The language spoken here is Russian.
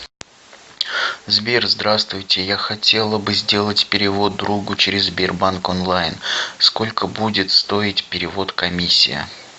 сбер здравствуйте я хотела бы сделать перевод другу через сбербанк онлайн сколько будет стоить перевод комиссия